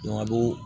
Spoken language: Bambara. a b'o